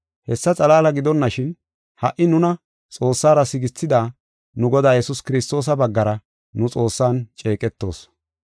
Hessa xalaala gidonashin, ha77i nuna Xoossara sigethida nu Godaa Yesuus Kiristoosa baggara nu Xoossan ceeqetoos.